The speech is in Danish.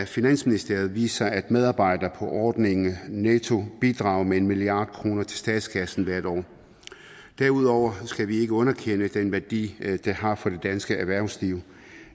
finansministeriet viser at medarbejdere på ordningen netto bidrager med en milliard kroner til statskassen hvert år derudover skal vi ikke underkende den værdi det har for det danske erhvervsliv